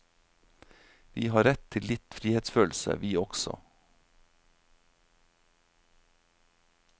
Vi har rett til litt frihetsfølelse, vi også.